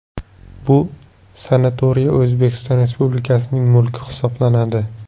Bu sanatoriy O‘zbekiston Respublikasining mulki hisoblanadi.